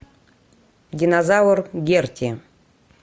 динозавр герти